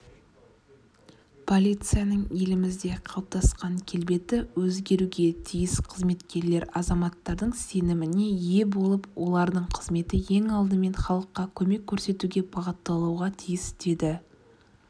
полицияның елімізде қалыптасқан келбеті өзгеруге тиіс қызметкерлер азаматтардың сеніміне ие болып олардың қызметі ең алдымен халыққа көмек көрсетуге бағытталуға тиіс деді